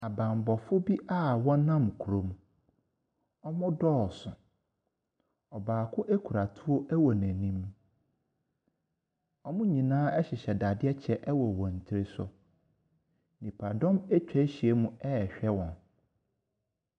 Abanbɔfoɔ bi a ɔnam kurom. Wɔ dooso. Ɔbaako kura tuo ɛwɔ n'anim. Wɔn nyinaa ɛhyehyɛ dadeɛ kyɛ ɛwɔ wɔn tiri so. Nipadɔm ɛtwa hyia mu rehwɛ wɔn.